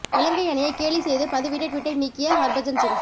இலங்கை அணியை கேலி செய்து பதிவிட்ட ட்வீட்டை நீக்கிய ஹர்பஜன் சிங்